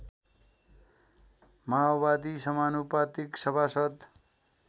माओवादी समानुपातिक सभासद्